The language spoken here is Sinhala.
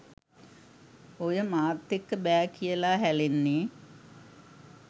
ඔය මාත් එක්ක බෑ කියලා හැලෙන්නේ